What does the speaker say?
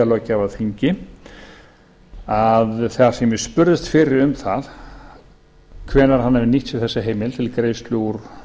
löggjafarþingi þar sem ég spurðist fyrir um það hvenær hann hefði nýtt sér þessa heimild til greiðslu úr